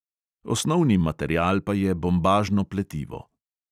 Osnovni material pa je bombažno pletivo.